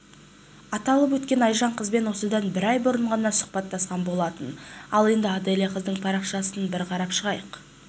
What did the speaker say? аталып өткен айжан қызбен осыдан бір ай бұрын ғана сұхбаттасқан болатын ал енді аделя қыздың парақшасын бір қарап шығайық